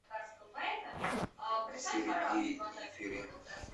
сергей ефремов